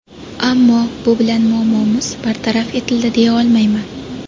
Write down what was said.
Ammo bu bilan muammomiz bartaraf etildi, deya olmayman.